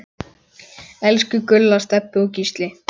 Elsku Gulla, Stebbi og Gísli.